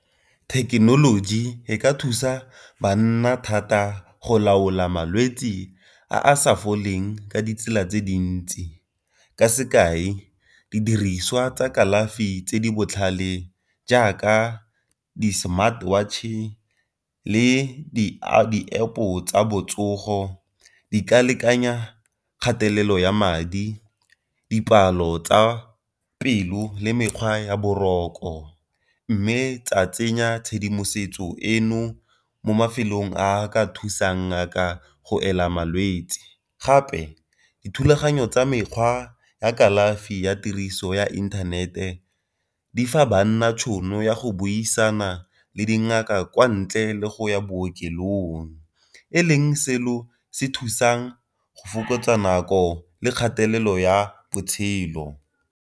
Thekenoloji e ka thusa banna thata go laola malwetsi a a sa foleng ka ditsela tse dintsi, ka sekai didiriswa tsa kalafi tse di botlhale jaaka di-smart watch-e le di-App-o tsa botsogo, di ka lekanya kgatelelo ya madi, dipalo tsa pelo, le mekgwa ya boroko. Mme tsa tsenya tshedimosetso eno mo mafelong a ka thusang ngaka go ela malwetsi. Gape dithulaganyo tsa mekgwa ya kalafi ya tiriso ya inthanete di fa banna tšhono ya go buisana le dingaka kwa ntle le go ya bookelong, e leng selo se thusang go fokotsa nako le kgatelelo ya botshelo.